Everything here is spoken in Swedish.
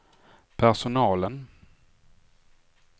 personalen